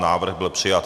Návrh byl přijat.